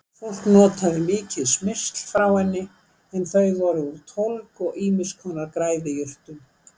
Fólk notaði mikið smyrsl frá henni en þau voru úr tólg og ýmiss konar græðijurtum.